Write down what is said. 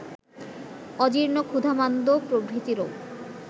অজীর্ণ ক্ষুধামান্দ্য প্রভৃতি রোগ